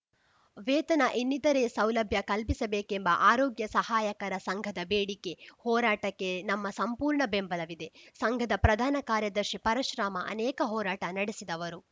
ವೇತನ ಇನ್ನೀತರೇ ಸೌಲಭ್ಯ ಕಲ್ಪಿಸಬೇಕೆಂಬ ಆರೋಗ್ಯ ಸಹಾಯಕರ ಸಂಘದ ಬೇಡಿಕೆ ಹೋರಾಟಕ್ಕೆ ನಮ್ಮ ಸಂಪೂರ್ಣ ಬೆಂಬಲವಿದೆ ಸಂಘದ ಪ್ರಧಾನ ಕಾರ್ಯದರ್ಶಿ ಪರಶುರಾಮ ಅನೇಕ ಹೋರಾಟ ನಡೆಸಿದವರು